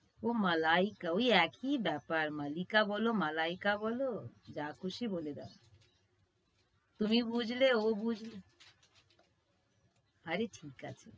ও মালাইকা ওই একই ব্যাপার। মালিকা বল মালাইকা বল যা খুশি বলে দাও। তুমি বুঝলে ও বুঝল আরে ঠিক আছে।